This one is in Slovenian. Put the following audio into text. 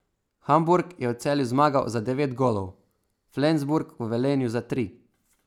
Hamburg je v Celju zmagal za devet golov, Flensburg v Velenju za tri.